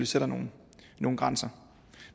sætter nogle nogle grænser